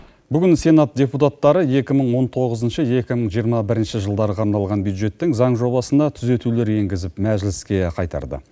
бүгін сенат депутаттары екі мың он тоғызыншы екі мың жиырма бірінші жылдарға арналған бюджеттің заң жобасына түзетулер енгізіп мәжіліске қайтарды